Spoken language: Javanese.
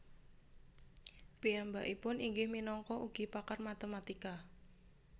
Piyambakipun inggih minangka ugi pakar matematika